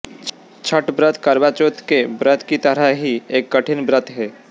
छठ व्रत करवा चौथ के व्रत की तरह ही एक कठिन व्रत है